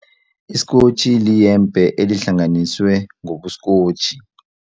Isikotjhi liyembe elihlanganiswe ngokusikotjhi.